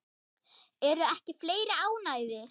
Eru ekki fleiri ánægðir?